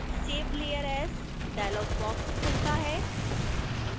save layer as dialog box खुलता है